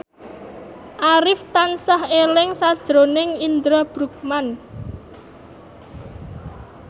Arif tansah eling sakjroning Indra Bruggman